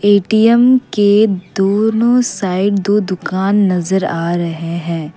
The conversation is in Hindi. ए_टी_एम के दोनों साइड दो दुकान नजर आ रहे हैं।